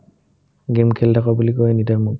game খেলি থাকা বুলি কই anytime মোক